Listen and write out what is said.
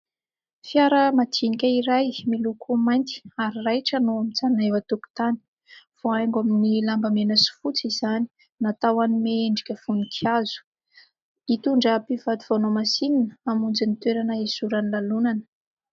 Fiara madinika iray miloko mainty ary raitra no mijanona eo an-tokotany, voahaingo amin'ny lamba mena sy fotsy izany, natao hanome endrika voninkazo. Hitondra mpivady vao nohamasinina, hamonjy ny toerana hizoran'ny lalao.